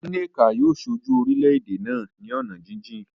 Nneka yóò ṣojú orílẹ̀-èdè náà ní ọ̀nà jíjìn.